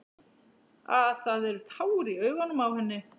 Að það eru tár í augunum á henni.